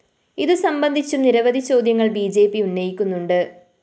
ഇതുസംബന്ധിച്ചും നിരവധി ചോദ്യങ്ങള്‍ B J P ഉന്നയിക്കുന്നുണ്ട്‌